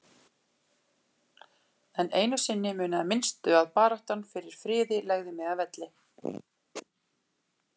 En einu sinni munaði minnstu að baráttan fyrir friði legði mig að velli.